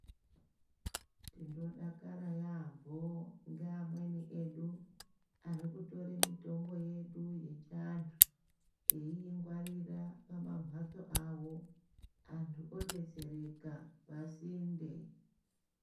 Tinodakara yambo, nge amweni edu arikutore mitombo yedu yechantu, eyingwarira pamamhatso awo, antu odetsereka pasinde.